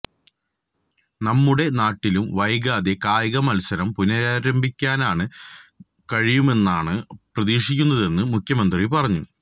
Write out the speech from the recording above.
നമ്മുടെ നാട്ടിലും വൈകാതെ കായിക മത്സരം പുനരാരംഭിക്കാന് കഴിയുമെന്നാണ് പ്രതീക്ഷിക്കുന്നതെന്ന് മുഖ്യമന്ത്രി പറഞ്ഞു